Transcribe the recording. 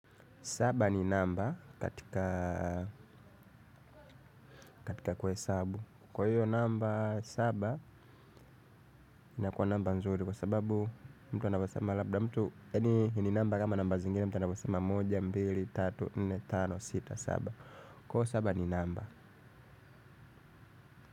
Saba ni namba katika kwesabu. Kwa hiyo namba saba inakua namba nzuri kwa sababu mtu anabwasama labda mtu. Hii ni namba kama namba zingine mtu anaposema moja mbili, tatu, nne, tano, sita, saba. Kwa saba ni namba.